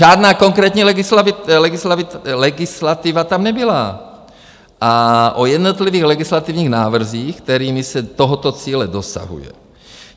Žádná konkrétní legislativa tam nebyla a o jednotlivých legislativních návrzích, kterými se tohoto cíle dosahuje.